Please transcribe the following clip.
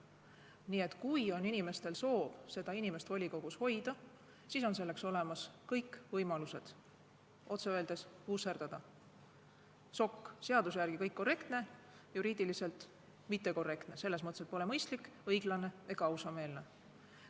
Nii et kui on soov seda inimest volikogus hoida, siis on olemas kõik võimalused otse öeldes vusserdada ehk sokk: seaduse järgi on kõik korrektne, kuid juriidiliselt mittekorrektne, selles mõttes, et pole mõistlik, õiglane ega ausameelne.